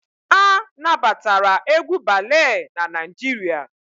A na batara egwu balee n'Naijiria